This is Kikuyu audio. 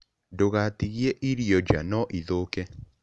Ndũgaatigie irio nja, no ithũke.